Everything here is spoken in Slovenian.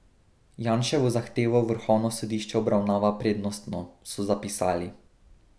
Janševo zahtevo vrhovno sodišče obravnava prednostno, so zapisali.